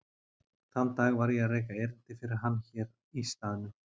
Þann dag var ég að reka erindi fyrir hann hér í staðnum.